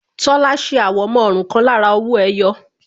Tola ṣe àwọ̀mọ́ ọrùn kan lára owó ẹyọ